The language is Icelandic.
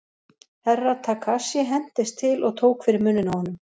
Herra Takashi hentist til og tók fyrir munninn á honum.